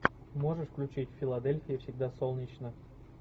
можешь включить в филадельфии всегда солнечно